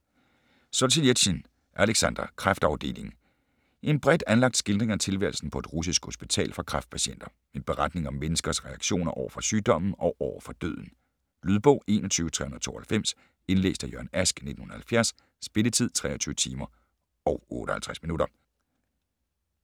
Solzjenitsyn, Aleksandr: Kræftafdelingen En bredt anlagt skildring af tilværelsen på et russisk hospital for kræftpatienter. En beretning om menneskers reaktioner over for sygdommen og over for døden. Lydbog 21392 Indlæst af Jørgen Ask, 1970. Spilletid: 23 timer, 58 minutter.